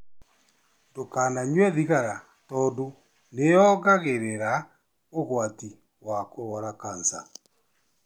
Ndũkananyue thigara tondũ nĩ ĩongereraga ũgwati wa kũrũara kansa.